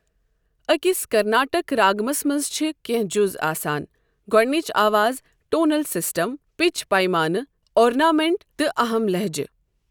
أکِس کرناٹک راگَمس منٛز چھِ کینٛہہ جُز آسان گۄڈنِچ آواز، ٹونل سسٹم، پچ، پیمانہٕ، اورنامنٹ، تہٕ اَہم لہجہٕ